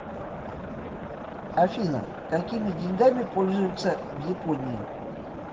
афина какими деньгами пользуются в японии